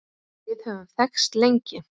Við höfum þekkst lengi